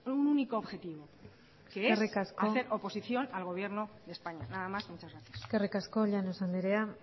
un único objetivo que es hacer oposición al gobierno de españa nada más y muchas gracias eskerrik asko llanos anderea